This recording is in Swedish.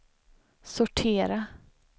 sortera